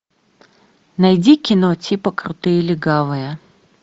найди кино типа крутые легавые